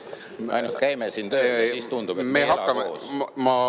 Me ainult käime siin tööl ja siis tundub, et me elame koos.